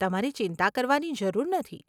તમારે ચિંતા કરવાની જરૂર નથી.